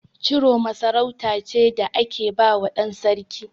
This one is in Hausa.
Ciroma sarauta ce da ake bawa ɗan sarki.